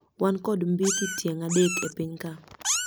wan kod mbithi tieng adek epiny ka